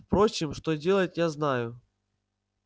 впрочем что делать я знаю